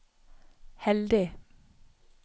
heldig